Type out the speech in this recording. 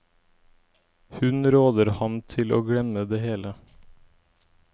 Hun råder ham til å glemme det hele.